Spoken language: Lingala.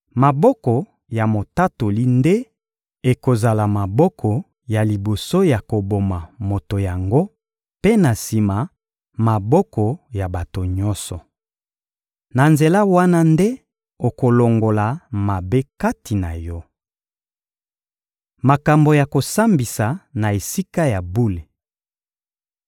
Maboko ya motatoli nde ekozala maboko ya liboso ya koboma moto yango, mpe na sima, maboko ya bato nyonso. Na nzela wana nde okolongola mabe kati na yo. Makambo ya kosambisa na Esika ya bule